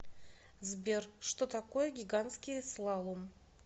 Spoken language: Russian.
сбер что такое гигантский слалом